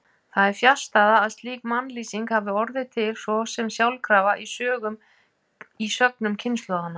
Það er fjarstæða að slík mannlýsing hafi orðið til svo sem sjálfkrafa í sögnum kynslóðanna.